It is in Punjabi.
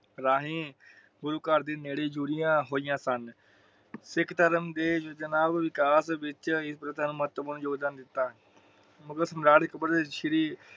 ਰਾਹੀਂ ਗੁਰੂ ਘਰ ਦੇ ਨੇੜੇ ਜੁੜਿਆ ਹੋਇਆ ਸਨ । ਸਿੱਖ ਧਰਮ ਦੇ ਜੋਜਨਾ ਵਿਕਾਸ ਵਿੱਚ ਮਗਰ ਸਮਰਾਟ ਅਕਬਰ ਸ਼੍ਰੀ